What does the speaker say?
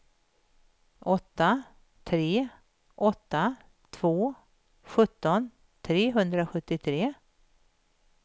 åtta tre åtta två sjutton trehundrasjuttiotre